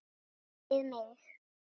Við mig.